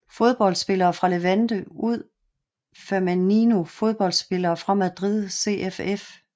Fodboldspillere fra Levante UD Femenino Fodboldspillere fra Madrid CFF